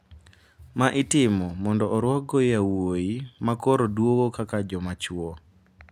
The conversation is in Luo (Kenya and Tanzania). Ma itimo mondo orwakgo yowuoyi ma koro duogo kaka joma chwo.